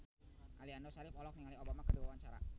Aliando Syarif olohok ningali Obama keur diwawancara